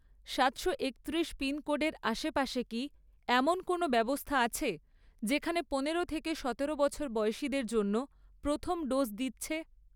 সাতশ একত্রিশ পিনকোডের আশেপাশে কি এমন কোনও ব্যবস্থা আছে যেখানে পনেরো থেকে সতেরো বছর বয়সের লোকেদের জন্য প্রথম ডোজ দিচ্ছে?